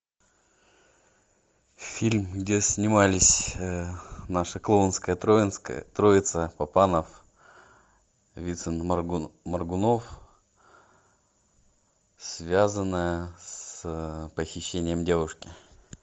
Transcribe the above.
фильм где снимались наша клоунская троица папанов вицин моргунов связанная с похищением девушки